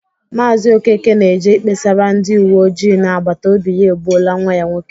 Maazị Okeke na-eje ikpesara ndị uwe ojii na agbatobi ya egbuola nwa ya nwoke.